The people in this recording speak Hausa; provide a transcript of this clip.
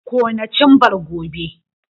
Kona cimbar gobe!